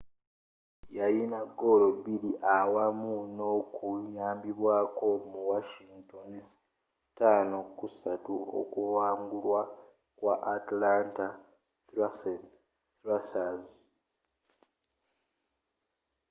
yayina goolo biiri awamu n'okuyambwako mu washington's 5-3 okuwangulwa kwaba atlanta thrashers